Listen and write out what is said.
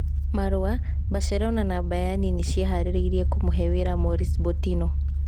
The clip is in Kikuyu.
(Marua) Mbacerona na Mbayani nĩ ciĩharĩirie kũmũhe wĩra Moris Botino.